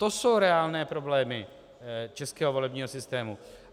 To jsou reálné problémy českého volebního systému.